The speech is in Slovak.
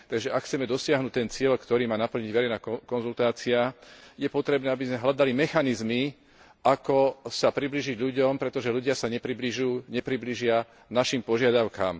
Takže ak chceme dosiahnuť ten cieľ, ktorý má naplniť verejná konzultácia, je potrebné, aby sme hľadali mechanizmy, ako sa priblížiť ľuďom, pretože ľudia sa nepriblížia našim požiadavkám.